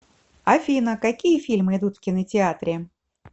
афина какие фильмы идут в кинотеатре